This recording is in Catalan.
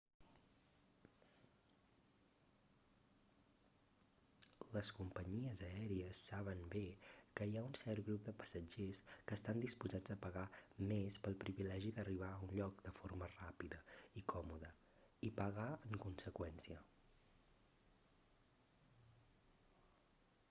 les companyies aèries saben bé que hi ha un cert grup de passatgers que estan disposats a pagar més pel privilegi d'arribar a un lloc de forma ràpida i còmoda i pagar en conseqüència